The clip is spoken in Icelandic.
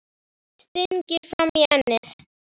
Stingir fram í ennið.